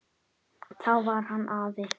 Þá var hann afi.